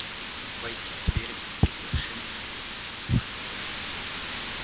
войти в дверь без приглашения она не сможет